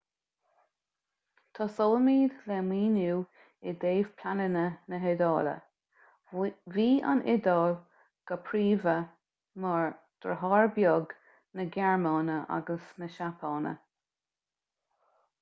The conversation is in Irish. tosóimid le míniú i dtaobh pleananna na hiodáile bhí an iodáil go príomha mar deartháir beag na gearmáine agus na seapáine